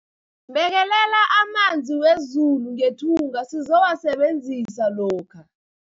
Bekelela amanzi wezulu ngethunga sizowasebenzisa lokha.